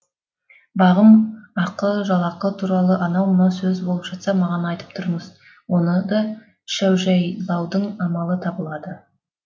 бағым ақы жалақы туралы анау мынау сөз болып жатса маған айтып тұрыңыз оны да шәужәйләудың амалы табылады